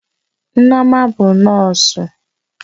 Nneoma bụ nọọsụ